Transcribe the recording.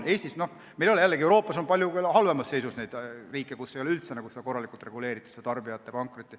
Euroopas on küll palju halvemas seisus riike, kus ei ole tarbijate pankrotti üldse korralikult reguleeritud.